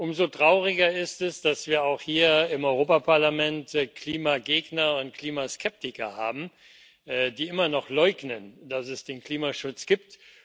Umso trauriger ist es, dass wir auch hier im Europäischen Parlament Klimagegner und Klimaskeptiker haben, die immer noch leugnen, dass es den Klimaschutz gibt.